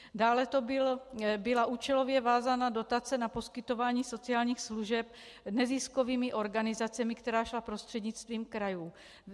Dále to byla účelově vázaná dotace na poskytování sociálních služeb neziskovými organizacemi, která šla prostřednictvím krajů.